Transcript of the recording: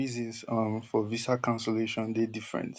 izins um for visa cancellation dey different